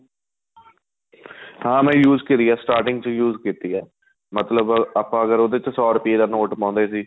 ਹਾਂ ਮੈਂ use ਕਰੀ ਆਂ starting ਵਿੱਚ use ਕੀਤੀ ਏ ਮਤਲਬ ਆਪਾਂ ਅਗ਼ਰ ਉਹਦੇ ਵਿੱਚ ਸੋ ਰੁਪਏ ਦਾ ਨੋਟ ਪਾਉਦੇ ਸੀ